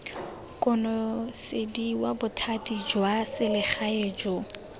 konosediwa bothati jwa selegae jo